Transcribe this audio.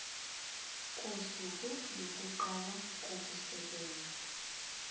kosuku lokuqala kokusebenza